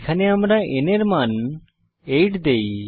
এখানে আমরা n এর মান 8 দেই